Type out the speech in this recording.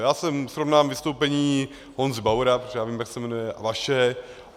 Já jsem srovnal vystoupení Honzy Bauera, protože já vím, jak se jmenuje, a vaše.